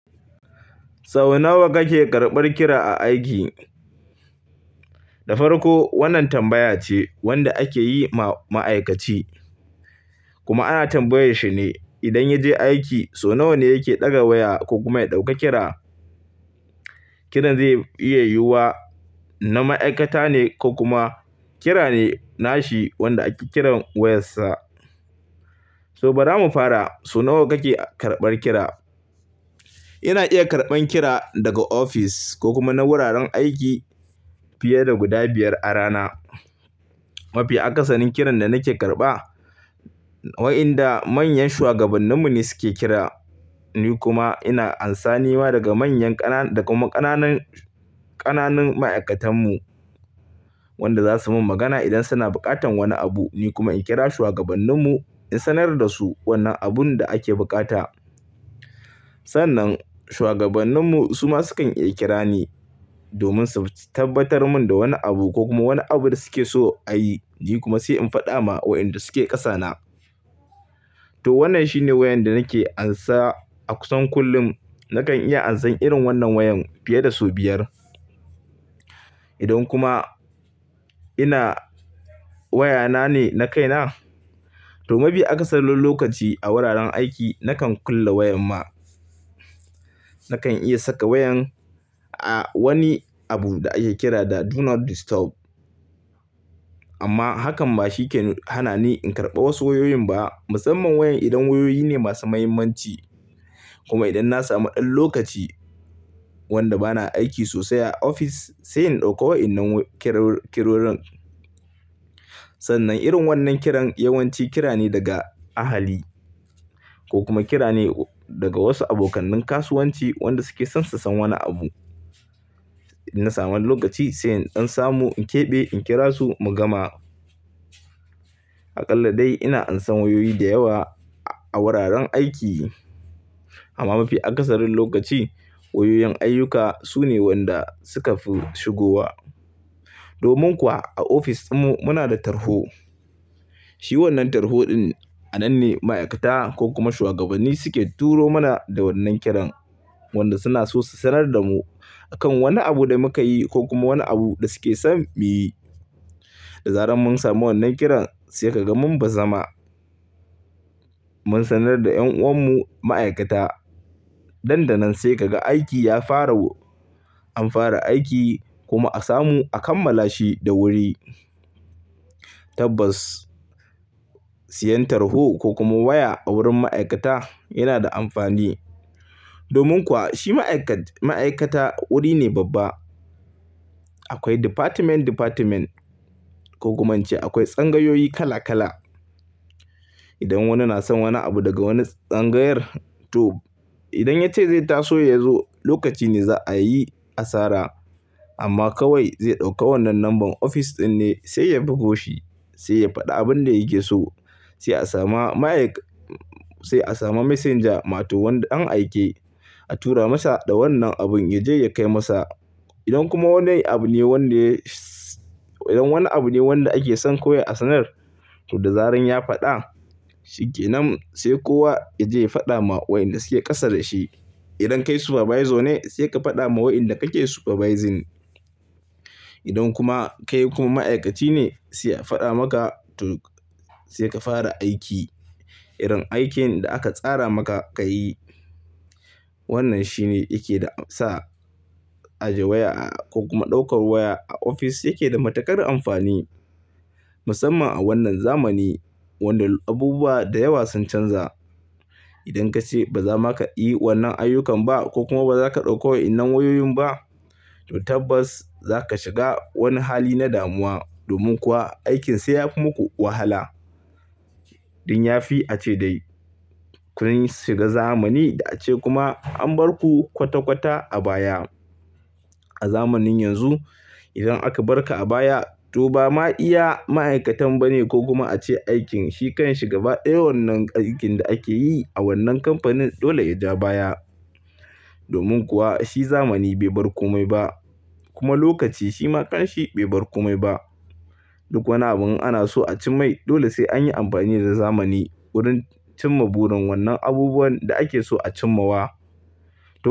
Sau nawa kake karɓar kira a aiki? Da farko wannan tambaya ce wanda ake yi ma ma'aikaci kuma ana tambayar shi ne idan ya je aiki so nawa ne yake ɗaga waya ko kuma ya ɗauka kira. Kiran zai iya yiwuwa na ma'aikata ne ko kuma kira ne nashi wanda ake kiran wayar sa. To bara mu fara so nawa kake karɓar kira? Ina iya karɓan kira daga ofis ko kuma na wuraren aiki fiye da guda biyar a rana. Mafi akasarin kiran da nake karɓa wa'inda manyan shuwagabanninmu ne suke kira. Ni kuma ina amsa nima daga manyan ƙana da kuma ƙananan, ƙananan ma'aikatanmu wanda za su mun magana idan suna buƙatan wani abu. Ni kuma in kira shuwagabanninmu in sanar da su wannan abun da ake buƙata. Sannan shuwagabanninmu su ma sukan iya kira ni domin su tabbatar mun da wani abu ko kuma wani abun da suke so a yi. Ni kuma sai in faɗa ma wa'inda suke ƙasa na. To wannan shine wayan da nake amsa a kusan kullum. Nakan iya amsan irin wannan wayan fiye da sau biyar. Idan kuma ina waya na ne na kaina to mafi akasarin lokaci a wuraren aiki nakan kulle wayar ma. Nakan iya saka wayan a wani abu da ake kira da "Do Not Disturb" amma hakan ba shi ke hana ni in karɓa wasu wayoyin ba. Musamman wayan idan wayoyi ne masu muhimmanci kuma idan na samu ɗan lokaci wanda bana aiki sosai a ofis sai in ɗauka wa'innan kiro, kirorin. Sannan irin wannan kiran yawanci kira ne daga ahali ko kuma kira ne daga wasu abokanin kasuwanci wanda suke son su san wani abu. In na sama lokaci sai in ɗan samu in keɓe, in kira su mu gama. Aƙalla dai ina amsa wayoyi da yawa a wuraren aiki. Amma mafi akasarin lokaci wayoyin ayyuka su ne wanda suka fi shigowa. Domin kuwa a ofis dun mu muna da tarho. Shi wannan tarho din a nan ne ma'aikata ko kuma shuwagabanni suke turo mana da wannan kiran wanda suna so su sanar da mu akan wani abu da muka yi ko kuma wani abu da suke son mu yi. Da zaran mun samu wannan kiran sai ka ga mun bazama. Mun sanar da ƴan'uwan mu ma'aikata. Nan da nan sai ka ga aiki ya fara. An fara aiki kuma a samu a kammala shi da wuri. Tabbas siyan tarho ko kuma waya a wurin ma'aikata yana da amfani. Domin kuwa shi ma'aikat, ma'aikata wuri ne babba. Akwai "department department" ko kuma in ce akwai tsangayoyi kala kala. Idan wani na son wani abu daga wani tsangayar to idan ya ce zai taso ya zo lokaci ne za'a yi asara. Amma kawai zai ɗauka wannan number ofis ɗin ne sai ya bugo shi. Sai ya faɗi abin da yake so. Sai a sama ma'aik, sai a sama messenger ma to wanda dan aike a tura masa da wannan abun ya je ya kai masa. Idan kuma wannan abu ne wanda ya, idan wani abu ne wanda ake son kawai a sanar to da zaran ya faɗa shikenan sai kowa ya je ya faɗa ma wa'inda suke ƙasa da shi. Idan kai supervisor ne sai ka faɗa ma wa'inda kake supervising. Idan kuma kai kuma ma'aikaci ne sai a faɗa maka to sai ka fara aiki. Irin aikin da aka tsara maka ka yi. Wannan shi ne yake sa aje waya a ko kuma ɗaukar waya a ofis yake da matuƙar amfani. Musamman a wannan zamani wanda abubuwa da yawa sun canza. Idan ka ce ba za maka yi wannan ayyukan ba ko kuma ba za ka ɗauko wa'innan wayoyin ba to tabbas za ka shiga wani hali na damuwa. Domin kuwa aikin sai ya fi muku wahala. ɗIn ya fi a ce dai kun shiga zamani da a ce kuma an bar ku kwata kwata a baya. A zamanin yanzu idan aka bar ka a baya to ba ma iya ma'aikatan ba ne ko kuma a ce aikin shi kan shi gaba. Ɗaya wannan aikin da ake yi a wannan kamfanin dole ya ja baya. Domin kuwa shi zamani bai bar komai ba kuma lokaci shi ma kan shi bai bar komai ba. Duk wani abin ana so a cimmai dole sai an yi amfani da zamani wurin cimma burin wannan abubuwan da ake so a cimma wa.